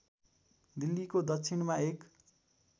दिल्लीको दक्षिणमा एक